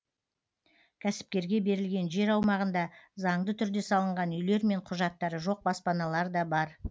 кәсіпкерге берілген жер аумағында заңды түрде салынған үйлер мен құжаттары жоқ баспаналар да бар